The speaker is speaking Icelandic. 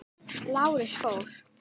Lárus fór.